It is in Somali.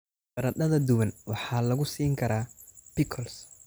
Baradhada duban waxaa lagu siin karaa pickles.